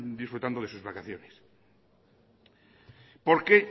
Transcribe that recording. disfrutando de sus vacaciones porque